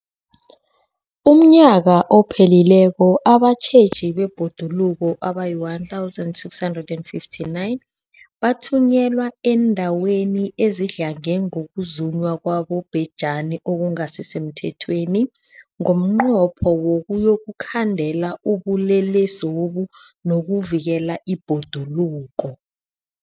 UmNnyaka ophelileko abatjheji bebhoduluko abayi-1 659 bathunyelwa eendaweni ezidlange ngokuzunywa kwabobhejani okungasi semthethweni ngomnqopho wokuyokukhandela ubulelesobu nokuvikela ibhoduluko.